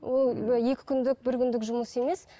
ол екі күндік бір күндік жұмыс емес